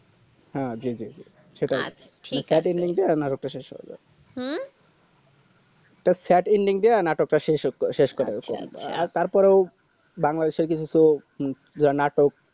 হ্যাঁ জি জি সেই কারণে নাটকটা শেষ হয়ে যায় হু তো sad ending দিয়ে নাটকটা শেষ আচ্ছা আচ্ছা আর তার পরে ও বাংলা দেশেও কিছু কিছু